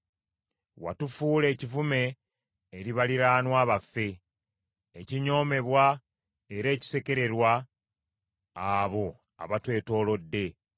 Watufuula ekivume eri baliraanwa baffe, ekinyoomebwa era ekisekererwa abo abatwetoolodde.